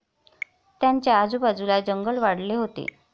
त्यांच्या आजूबाजूला जंगल वाढले होते.